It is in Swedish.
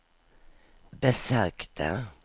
besökte